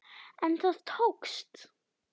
En það tókst.